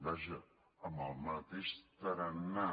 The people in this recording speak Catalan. vaja amb el mateix tarannà